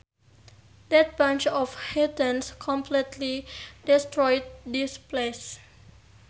That bunch of heathens completely destroyed this place